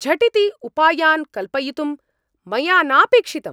झटिति उपायान् कल्पयितुं मया नापेक्षितम्।